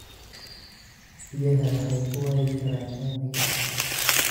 Biyaha waxay ku waayi karaan uumiga.